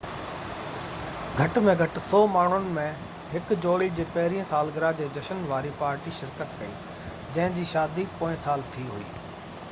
گهٽ ۾ گهٽ 100 ماڻهن ۾ هڪ جوڙي جي پهريئن سالگرهه جي جشن واري پارٽي شرڪت ڪئي جنهن جي شادي پوئين سال ٿي هئي